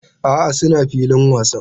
A'a, suna filin wasan